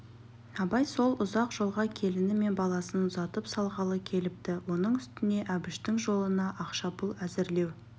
абай сол ұзақ жолға келіні мен баласын ұзатып салғалы келіпті оның үстіне әбіштің жолына ақша-пұл әзірлеу